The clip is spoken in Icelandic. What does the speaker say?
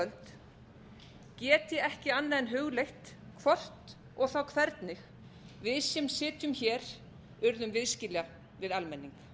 kvöld get ég ekki annað en hugleitt hvort og þá hvernig við sem sitjum hér urðum viðskila við almenning